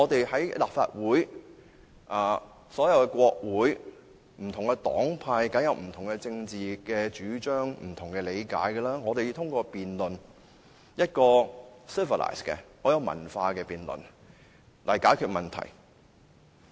在立法會及所有國會，不同黨派當然有不同的政治主張、理解，要通過一個很有文化的辯論來解決問題。